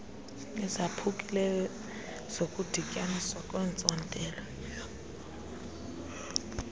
ezaphukileyo zokudityaniswa kweentsontela